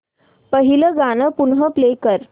पहिलं गाणं पुन्हा प्ले कर